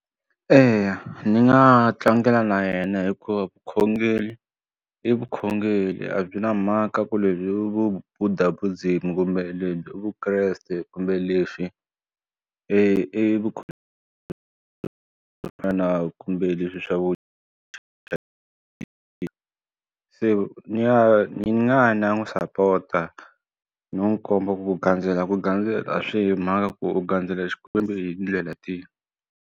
Eya ni nga tlangela na yena hikuva vukhongeri i vukhongeri a byi na mhaka ku lebyi vu Buddhism kumbe lebyi Vukreste kumbe lexi e fana kumbe leswi swa se ni nga ni nga ya ni ya n'wi sapota no n'wi komba ku ku gandzela ku gandzela a swi yi hi mhaka ku u gandzela xikwembu hi tindlela tihi.